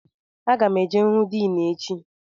Aga m eje hụ Din echi